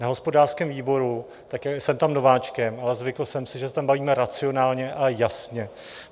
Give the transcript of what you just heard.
Na hospodářském výboru - jsem tam nováčkem, ale zvykl jsem si, že se tam bavíme racionálně a jasně.